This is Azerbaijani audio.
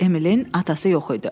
Emilin atası yox idi.